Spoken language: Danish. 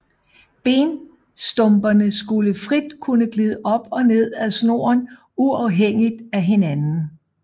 Benstumperne skulle frit kunne glide op og ned ad snoren uafhængigt af hinanden